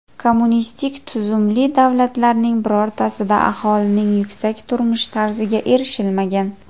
Kommunistik tuzumli davlatlarning birortasida aholining yuksak turmush tarziga erishilmagan.